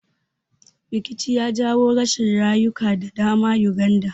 Rikici ya jawo rashin rayuka da dama Uganda